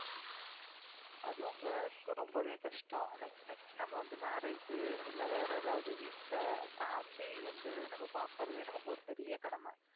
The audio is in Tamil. அதுவும் girls க்கு ரொம்பவே கஷ்டம் next next நம்ம வந்து marriage இல்லை வேற எதாவது வீட்டுல family வந்து நம்ம பார்க்கிறதே நமக்கு ஒரு பெரிய கடமை